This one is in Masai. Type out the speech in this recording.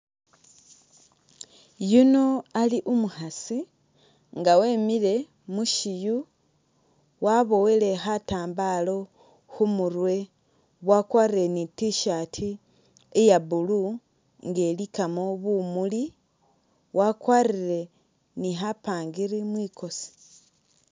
Yuno ali umukhaasi nga emile mushiyu wabowele khatambala khumurwe wakwalire ni t-shirt iya blue nga ilikamo bumuli wakwalire ni khapangiri mwikosi